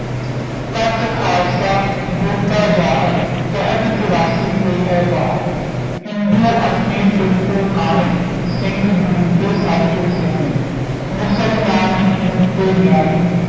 ਤੱਤ ਖਾਲਸਾ ਗੁਰੁ ਕਾ ਜਾਹਰ ਕਹਿਤ ਚੁਰਾਸੀ ਤੇ ਹੈ ਬਾਹਰ ਹਿੰਦੂ ਅੰਨ੍ਹੇ ਤੁਰਕੂ ਕਾਣੇ ਸਿੰਘ ਗੁਰੂ ਕੇ ਸਭ ਤੋਂ ਸ੍ਯਾਨੇ ਮੁਸਲਮਾਨ ਹਿੰਦੂ ਤੈ ਨਯਾਰੀ